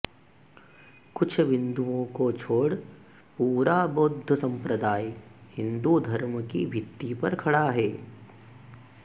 कुछ विन्दुओं को छोड़ पूरा बौद्ध सम्प्रदाय हिन्दू धर्म की भित्ति पर खड़ा है